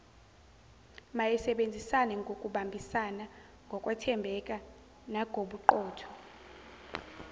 mayisebenzisanengokubambisana ngokwethembana nagobuqotho